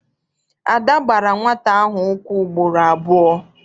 Ada gbara nwata ahụ ụkwụ ugboro abụọ.